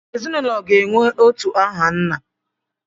Ezinụlọ ga-enwe otu aha nna.